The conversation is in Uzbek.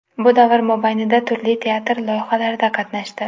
Bu davr mobaynida turli teatr loyihalarida qatnashdi.